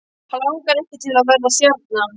Hann langar ekki til að verða stjarna.